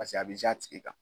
Paseke a bɛ a tigi kan.